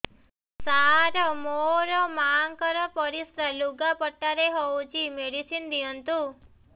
ସାର ମୋର ମାଆଙ୍କର ପରିସ୍ରା ଲୁଗାପଟା ରେ ହଉଚି ମେଡିସିନ ଦିଅନ୍ତୁ